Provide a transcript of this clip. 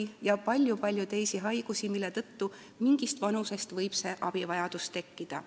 On veel palju-palju teisi haigusi, mille tõttu mingist vanusest võib see abivajadus tekkida.